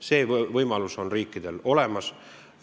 See võimalus on riikidel olemas.